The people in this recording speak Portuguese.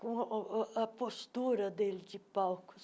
com o a a a postura dele de palco.